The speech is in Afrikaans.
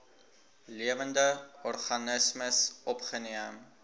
lewende organismes opgeneem